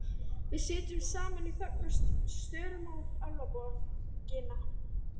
Við sitjum saman í þögn og störum á Álfaborgina.